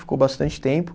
Ficou bastante tempo.